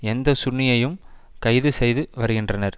எந்த சுன்னியையும் கைது செய்து வருகின்றனர்